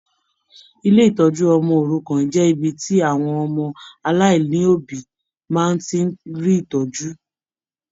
Ilé ìtọjú ọmọ òrukàn jẹ ibi tí àwọn ọmọ aláìlobi má ti rí ìtọjú.